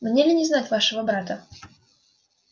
мне ли не знать вашего брата